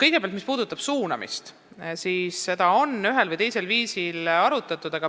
Kõigepealt, mis puudutab suunamist, siis seda on ühel või teisel viisil arutatud.